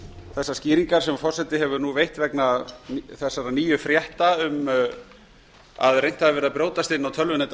þessar skýringar sem forseti hefur nú veitt vegna þess nýju frétta um að reynt hafi gerð að brjótast inn á tölvunet